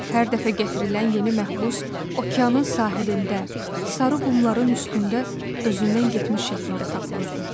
Hər dəfə gətirilən yeni məhbus okeanın sahilində, sarı qumların üstündə özündən getmiş şəkildə tapılırdı.